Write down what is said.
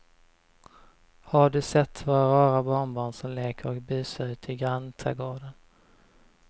Har du sett våra rara barnbarn som leker och busar ute i grannträdgården!